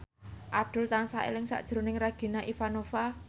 Abdul tansah eling sakjroning Regina Ivanova